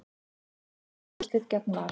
Stjarnan í úrslitin gegn Val